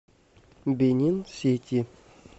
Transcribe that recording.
бенин сити